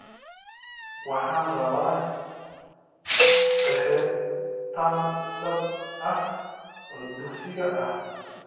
Waxaan rabaa qeexitaan dhab ah oo dugsiga ah